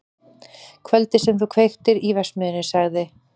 Kvöldið sem þú kveiktir í verksmiðjunni- sagði